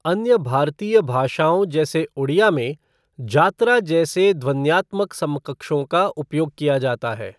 अन्य भारतीय भाषाओं जैसे ओडिया में, जात्रा जैसे ध्वन्यात्मक समकक्षों का उपयोग किया जाता है।